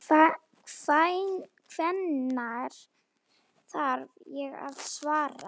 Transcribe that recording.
Hvenær þarf ég að svara?